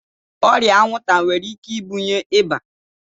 Ọrịa anwụnta nwere ike ibunye ịba.